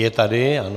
Je tady, ano.